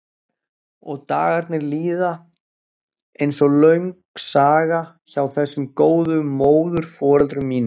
Og dagarnir líða einsog löng saga hjá þessum góðu móðurforeldrum mínum.